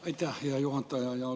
Aitäh, hea juhataja!